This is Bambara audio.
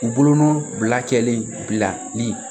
U bolonɔ bila kɛlen bilali